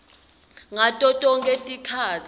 ngato tonkhe tikhatsi